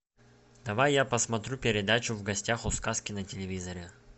давай я посмотрю передачу в гостях у сказки на телевизоре